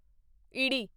ਈੜੀ